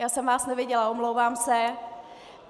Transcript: - Já jsem vás neviděla, omlouvám se.